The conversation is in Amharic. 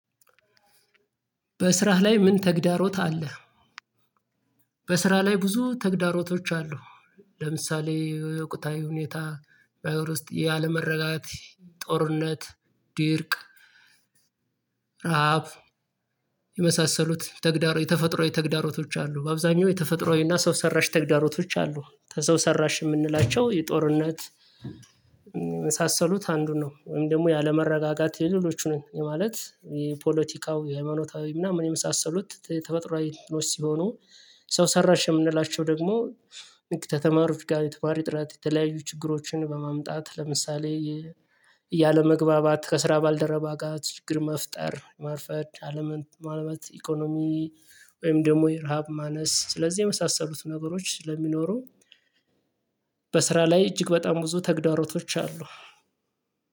በስራህ ላይ ምን ተግዳሮት አለ? በስራ ላይ ብዙ ተግዳሮቶች አሉ። ለምሳሌ የውቅታዊ ሁኔታ በማበረ ውስጥ ያለመረጋጋት ጦርነት ድርቅ ረሃብ የመሳሰሉት ተግዳሮ የተፈጥሮ የተግዳሮቶች አሉ። በአብዛኛው የተፈጥሮአዊና ሰው ሰራሽ ተግዳሮቶች አሉ። ከሰው ሰራሽ የምንላቸው የጦርነት መሳሰሉት አንዱን ነው ወይም ደግሞ ያለመረጋጋት የሌሎቹ ነው የማለት የፖለቲካው ሃይማኖታዊ ምናምን የመሳሰሉት ተፈጥሮአዊ ሲሆኑ። ሰው ሰራሽ የምንላቸው ደግሞ ተተማሪዎች ጋር የተማሪ ጥረት የተለያዩ ችግሮችን በማምጣት ለምሳሌ ያለመግባባት ከስራ ባልደረባ ጋር ችግር መፍጠር መርፈድ አለምን ማለበት ኢኮኖሚ ወይም ደግሞ የረሃብ ማነስ ስለዚህ የመሳሰሉት ነገሮች ስለሚኖሩ። በስራ ላይ እጅግ በጣም ብዙ ተግዳሮቶች አሉ።